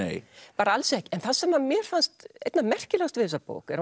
bara alls ekki en það sem mér fannst einna merkilegast við þessa bók er